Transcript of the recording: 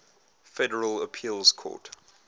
federal appeals court